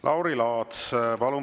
Lauri Laats, palun!